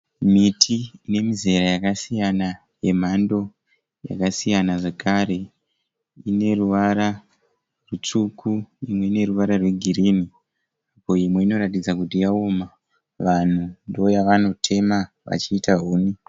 Miti yemizera yakasiyana yemhando yakasiyana zvakare ine ruvara rutsvuku imwe ine ruvara rwegirini ko imwe inoratidza kuti yaoma, vanhu ndoyavanotema vachiita huni.